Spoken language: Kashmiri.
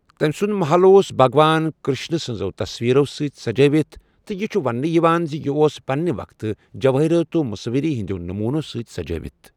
تٔمۍ سُنٛد مَحل اوس بَھگوان کِرٛشنہٕ سٕنٛزو تصویٖرو سۭتۍ سَجٲوتھ تہٕ یہ چھ ونٛنہٕ یوان زِ یہِ اوس پنٛنہِ وقتہٕ جوٲہِرو تہٕ مصوِری ہٕنٛدٮ۪و نموٗنو سۭتۍ سجٲوِتھ ۔